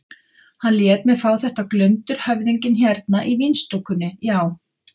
Hann lét mig fá þetta glundur höfðinginn hérna í vínstúkunni, já.